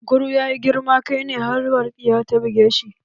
Kunkurun ya yi girman kai ne har walƙiya ta buge shi